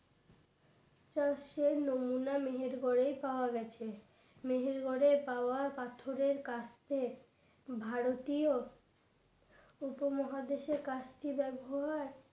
সে নমুনা মেহেরগড় এ পাওয়া গেছে মেহেরগড়ে পাওয়া পাথরের কাস্তে ভারতীয় উপমহাদেশের কাস্তে ব্যবহার